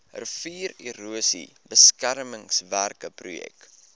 riviererosie beskermingswerke projek